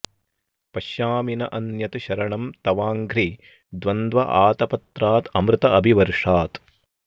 पश्यामि न अन्यत् शरणं तवाङ्घ्रि द्वन्द्व आतपत्रात् अमृत अभिवर्षात्